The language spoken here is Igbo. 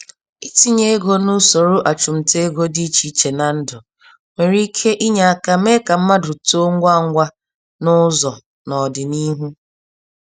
Itinye ego nusoro achumtaego dị iche iche na ndụ, nwere ike ịnye aka mee ka mmadụ too ngwa ngwa nụzọ, n'ọdịnihu.